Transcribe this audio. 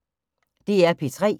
DR P3